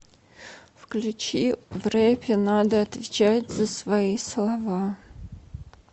включи в рэпе надо отвечать за свои слова